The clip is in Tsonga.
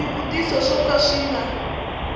swivutiso swo ka swi nga